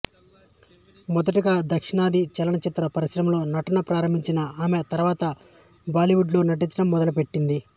మొదటగా దక్షిణాది చలనచిత్ర పరిశ్రమలో నటన ప్రారంభించిన ఈమె తర్వాత బాలీవుడ్ లో నటించడం మొదలు పెట్టింది